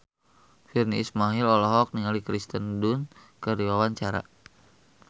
Virnie Ismail olohok ningali Kirsten Dunst keur diwawancara